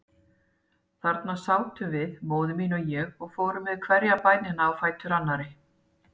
Þarna sátum við, móðir mín og ég, og fórum með hverja bænina á fætur annarri.